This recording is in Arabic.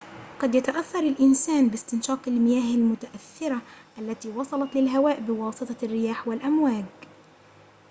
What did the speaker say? قد يتأثر الإنسان باستنشاق المياه المتأثرة التي وصلت للهواء بواسطة الرياح والأمواج